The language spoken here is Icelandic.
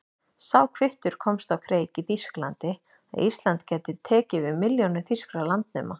Sá kvittur komst á kreik í Þýskalandi, að Ísland gæti tekið við milljónum þýskra landnema.